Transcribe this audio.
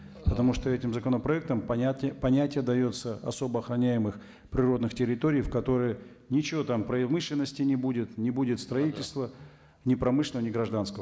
потому что этим законопроектом понятие дается особо охроняемых природных территорий в которые ничего там промышленности не будет не будет строительства ни промышленного ни гражданского